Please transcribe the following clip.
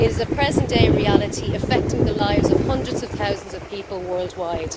It is a present day reality, affecting the lives of hundreds of thousands of people worldwide.